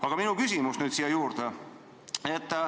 Aga minu küsimus nüüd siia juurde.